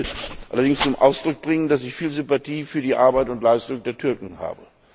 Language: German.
Ich möchte allerdings zum Ausdruck bringen, dass ich viel Sympathie für die Arbeit und die Leistung der Türken habe.